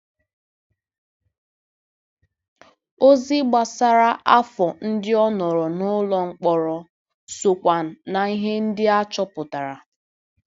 Ozi gbasara afọ ndị ọ nọrọ n'ụlọ mkpọrọ sokwa na ihe ndị a chọpụtara.